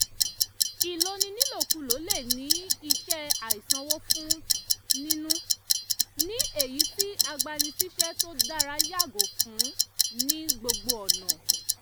ìloni nílòkulò le ní iṣẹ́ àìsanwó fún nínú ní èyí tí agbani síṣẹ́ tó dára yàgò fún ní gbogbo ọ̀nà